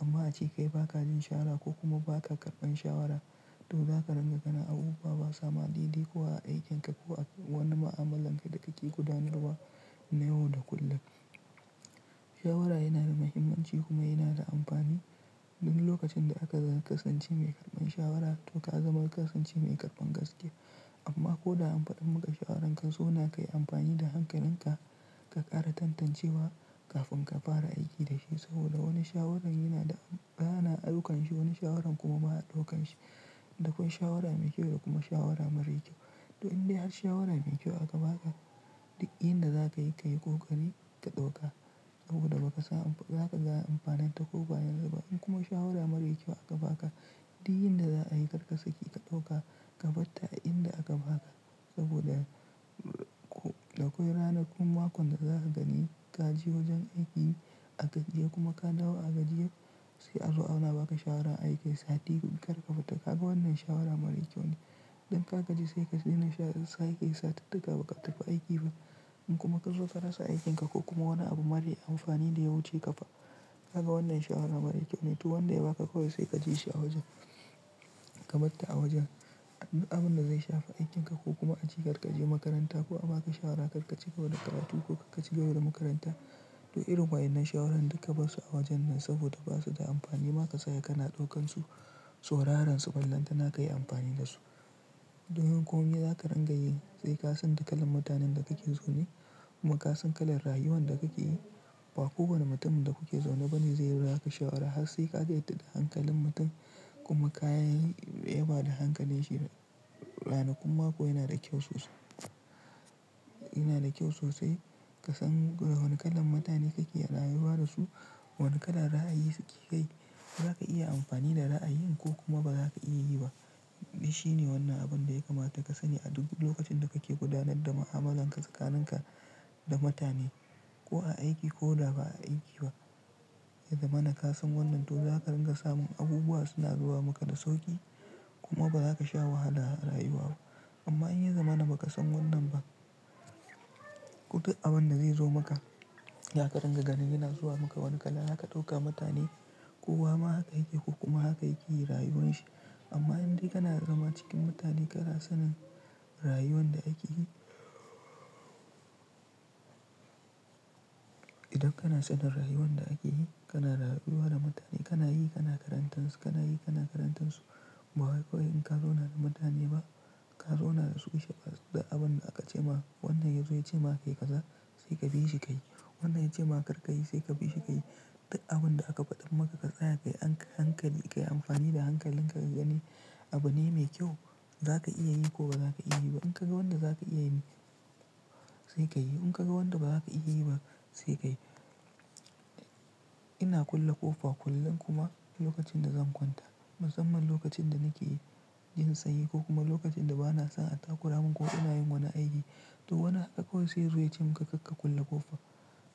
Amma aci kai baka jin shawara ko kuma ba ka karɓan shawara, to zaka ringa ganin abubuwa ba sa ma daide ko a aikinka ko a wani ma'amalanka da kake gudanarwa na yau da kullum. Shawara yana da muhimmanci kuma yana da amfani. Duk lokacin da aka kasance mai karɓan shawara to ka zama kasance mai karɓan gaskiya. Amma ko da an faɗa maka shawaran ka zauna kayi amfani da hankalinka ka ƙara tantancewa kafin ka fara aiki da shi saboda wani shawaran yana da, ana daukan shi, wani shawaran kuma ba a ɗaukan shi. Dakwai shawara mai kyau da kuma shawara marar kyau. To in dai har shawara mai kyau aka baka, duk inda za ka yi ka yi, kokari ka ɗauka saboda ba ka sa, za ka zauna amfaninta ko ba yanzu ba. In kuma shawara mara kyau aka baka, duk inda za'a yi karkasi ki ka ɗauka, ka tabbata a inda aka baka saboda duk duk ranakun mako da za ka gani ka je wajen aikin a gajiye kuma ka dawo a gajiye, sai a zo ana baka shawaran aiki sati guda biyar ka tabbata kaga wannan shawara mara kyau ne. Idan ka gaji sai ka daina sha, sai ka yi sati ɗaya kaɓa ka tafi aiki ba. In kuma kazo ka rasa aikin ka ko kuma wani abu mara amfani da ya wuce ka fa, ka ga wannan shawara mara kyau ne. To wanda ya baka kawai sai ka ji shi a wajen, ka bata a wajen. Duk abin da zai shafa aikin ka ko kuma aci karkaje makaranta ko aka baka shawara karki ci wani karatu ko karki zo da makaranta. To irin wa'annan shawarorin da ka bar su a wajen nan saboda ba su da amfani ma ka saya kana ɗaukan su, sauraran su, ballantana kayi amfani da su. Don kuma in yanzu aka rangaye sai ka san duk kalan mutanen da kake zaune kuma ka san kalan rayuwan da kake yi. Ba kowane mutumin da kuke zaune bane zai baka shawara har sai ka yarda da hankalin mutum kuma ka yi, ya ba da hankalin shi. Ranakun mako yana da kyau sosai. Yana da kyau sosai ka san wane kalan mutane kake rayuwa da su, wane kalan ra'ayi suke yi, zaka iya amfani da ra'ayin ko kuma ba za ka iya yi ba. Shi ne wannan abin da ya kamata ka sani a duk lokacin da kake gudanar da mu'amala ka tsakaninka da mutane ko a aiki ko da ba aiki ba. Ya zama na kasan wannan to zaka ringa samun abubuwa suna zuwa maka da sauƙi kuma ba za ka sha wahala a rayuwa ba. Amma in ya zama na ba kasan wannan ba, duk abin da zai zo maka, za ka ringa ganin yana zuwa maka wani kala haka dauka mutane, kowa ma haka yake yi ko kuma haka yake yi rayuwar shi. Amma in dai kana zama cikin mutane kana sanin rayuwan da ake yi. Idan kana sanin rayuwan da ake yi, kana rayuwa da mutane, kana yi, kana karantarsu, kana yi, kana karantarsu. Ba wai kawai in ka zauna da mutane ba, ka zauna da su ishe da abin da aka ce ma. Wannan yazo ya ce ma kai kaza sai ka bi shi ka yi. Wannan ya ce ma karka yi sai ka bi shi ka yi. Duk abin da aka faɗa maka ka tsaya ka yi hankali, ka yi amfani da hankalin ka ka gani abu ne mai kyau, za ka iya yi ko ba za ka iya yi ba. In ka ga wanda za ka iya yi sai ka yi. In ka ga wanda ba za ka iya yi ba sai ka yi. Ina kulle ƙofa kullum kuma lokacin da zan kwanta. Musamman lokacin da nake jin sanyi ko kuma lokacin da ba na son attakura min ko ina yin wani aiki. To wani haka kawai sai ya zo ya ce maka kar ka kulle ƙofa.